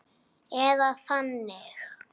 Eða þannig.